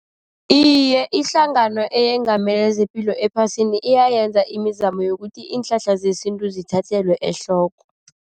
Iye, ihlangano eyengamele zepilo ephasini iyayenza imizamo yokuthi iinhlahla zesintu zithathelwe ehloko.